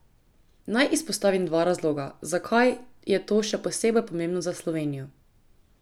Naj izpostavim dva razloga, zakaj je to še posebej pomembno za Slovenijo.